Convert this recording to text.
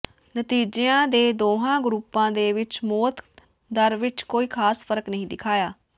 ਨਤੀਜਿਆਂ ਨੇ ਦੋਹਾਂ ਗਰੁੱਪਾਂ ਦੇ ਵਿੱਚ ਮੌਤ ਦਰ ਵਿੱਚ ਕੋਈ ਖ਼ਾਸ ਫ਼ਰਕ ਨਹੀਂ ਦਿਖਾਇਆ